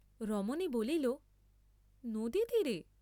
রমণী বলিল, নদীতীরে?